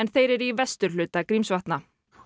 þeir eru í vesturhluta Grímsvatna